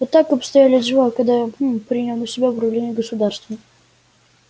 вот так обстояли дела когда я гм принял на себя управление государством